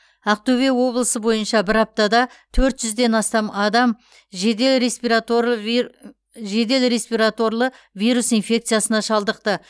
ақтөбе облысы бойынша бір аптада төрт жүзден астам адам жедел респиратор вир жедел респираторлы вирус инфекциясына шалдықты